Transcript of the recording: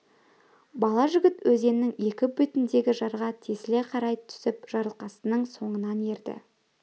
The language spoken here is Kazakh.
бала жігіт өзеннің екі бетіндегі жарға тесіле қарай түсіп жарылқасынның соңынан ерді